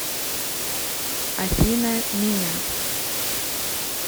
афина меня